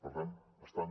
per tant estan